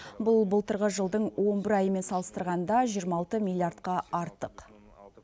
бұл былтырғы жылдың он бір айымен салыстырғанда жиырма алты миллиардқа артық